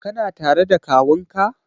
Kana tare da kawunka?